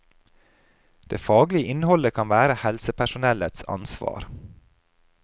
Det faglige innholdet kan være helsepersonellets ansvar.